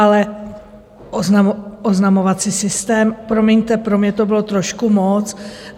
Ale oznamovací systém, promiňte, pro mě to bylo trošku moc.